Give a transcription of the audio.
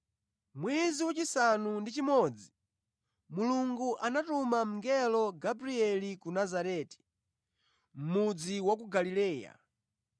Mwezi wachisanu ndi chimodzi, Mulungu anatuma mngelo Gabrieli ku Nazareti, mudzi wa ku Galileya,